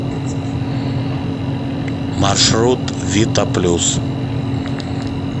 маршрут вита плюс